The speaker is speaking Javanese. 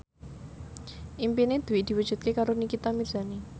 impine Dwi diwujudke karo Nikita Mirzani